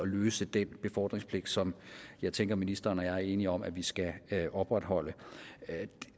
løse den befordringspligt som jeg tænker ministeren og jeg er enige om at vi skal opretholde